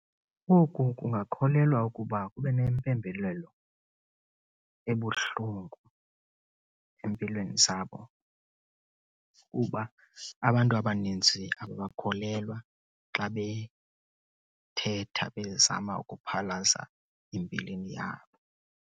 Oku kungakholelwa ukuba kube nempembelelo ebuhlungu empilweni zabo, kuba abantu abaninzi ababakholelwa xa bethetha bezama ukuphalaza imbilini yabo.